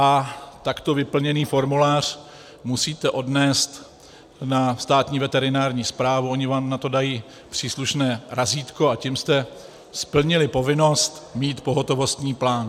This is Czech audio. A takto vyplněný formulář musíte odnést na Státní veterinární správu, oni vám na to dají příslušné razítko, a tím jste splnili povinnost mít pohotovostní plán.